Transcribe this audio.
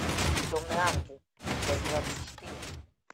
темный ангел часть двадцать четыре